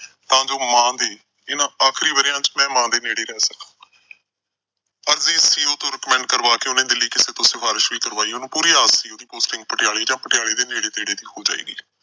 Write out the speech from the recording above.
ਤਾਂ ਜੋ ਮਾਂ ਦੇ ਇਹਨਾਂ ਆਖਰੀ ਵਰ੍ਹਿਆਂ ਚ ਮੈਂ ਮਾਂ ਦੇ ਨੇੜੇ ਰਹਿ ਸਕਾਂ। ਅਰਜੀ CEO ਤੋਂ recommend ਕਰਵਾਕੇ ਉਸਨੇ ਦਿੱਲੀ ਕਿਸੇ ਤੋਂ ਸਿਫਾਰਿਸ਼ ਵੀ ਕਰਵਾਈ। ਉਹਨੂੰ ਪੂਰੀ ਆਸ ਸੀ ਉਹਦੀ posting ਪਟਿਆਲੇ ਜਾਂ ਪਟਿਆਲੇ ਦੇ ਨੇੜੇ-ਤੇੜੇ ਹੋ ਜਾਏਗੀ।